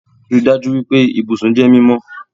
Rii daju pe ibusun jẹ mimọ